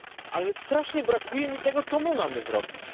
Ale strasznie brakuje mi tego, co my mamy zrobić.